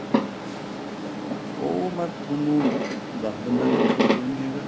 ਉਹ ਮੈਂ ਤੁਹਾਨੂੰ ਦੱਸ ਦਿੰਨਾ sir ਕੋਈ ਓ ਨੀਂ ਹੈਗਾ